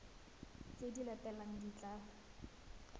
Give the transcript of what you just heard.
tse di latelang di tla